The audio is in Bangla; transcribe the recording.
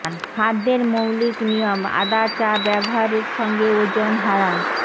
খাদ্যের মৌলিক নিয়ম আদা চা ব্যবহারের সঙ্গে ওজন হারান